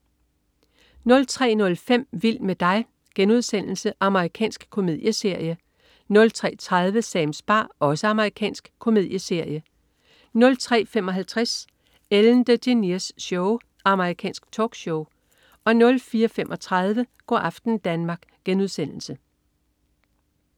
03.05 Vild med dig.* Amerikansk komedieserie 03.30 Sams bar. Amerikansk komedieserie 03.55 Ellen DeGeneres Show. Amerikansk talkshow 04.35 Go' aften Danmark*